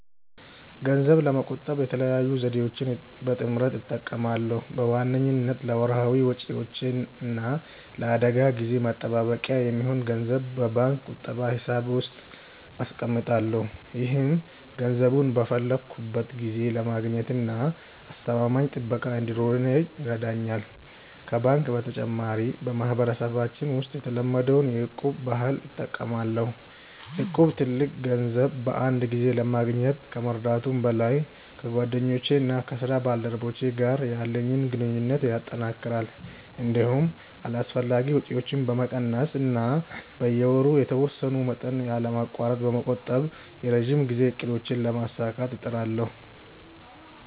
ገንዘብ ለመቆጠብ የተለያዩ ዘዴዎችን በጥምረት እጠቀማለሁ። በዋነኝነት ለወርሃዊ ወጪዎቼ እና ለአደጋ ጊዜ መጠባበቂያ የሚሆን ገንዘብ በባንክ ቁጠባ ሂሳብ ውስጥ አስቀምጣለሁ። ይህም ገንዘቡን በፈለግኩት ጊዜ ለማግኘትና አስተማማኝ ጥበቃ እንዲኖረው ይረዳኛል። ከባንክ በተጨማሪ፣ በማህበረሰባችን ውስጥ የተለመደውን የ'እቁብ' ባህል እጠቀማለሁ። እቁብ ትልቅ ገንዘብ በአንድ ጊዜ ለማግኘት ከመርዳቱም በላይ፣ ከጓደኞቼና ከስራ ባልደረቦቼ ጋር ያለኝን ግንኙነት ያጠናክራል። እንዲሁም አላስፈላጊ ወጪዎችን በመቀነስ እና በየወሩ የተወሰነ መጠን ያለማቋረጥ በመቆጠብ የረጅም ጊዜ እቅዶቼን ለማሳካት እጥራለሁ።